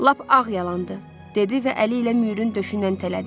Lap ağ yalandır, dedi və əli ilə Müürün döşündən tələdi.